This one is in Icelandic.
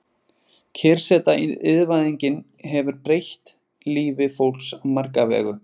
Kyrrseta Iðnvæðingin hefur breytt lífi fólks á marga vegu.